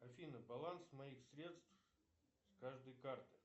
афина баланс моих средств с каждой карты